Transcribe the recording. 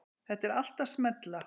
Þetta er allt að smella.